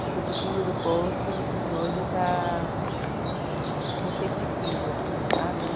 que foi para o fundo do poço e hoje está como sempre quis, assim, sabe?